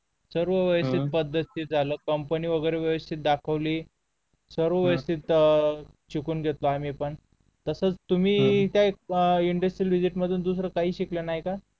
सर्व वैयक्तिक पद्धतीत झालं कंपनी वगैरे व्यवस्थित दाखवली सर्व व्यवस्थित शिकून घेतलं आम्ही पण तास तुम्ही इंडस्ट्रियल व्हिजीट मधून दुसरं काही शिकला नाही का?